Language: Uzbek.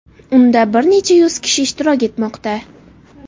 Unda bir necha yuz kishi ishtirok etmoqda.